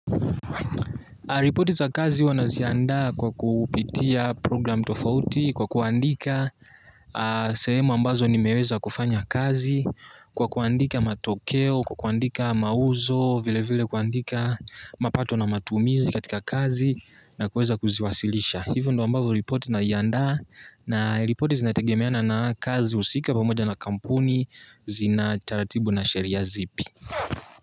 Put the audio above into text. Repoti za kazi huwa naziandaa kwa kupitia program tofauti, kwa kuandika sehemu ambazo nimeweza kufanya kazi, kwa kuandika matokeo, kwa kuandika mauzo, vile vile kuandika mapato na matumizi katika kazi na kuweza kuziwasilisha. Hivyo ndio ambayo repoti naiandaa na repoti zinategemeana na kazi husika pamoja na kampuni, zina taratibu na sheria zipi.